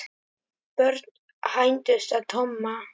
Börn hændust að Tomma.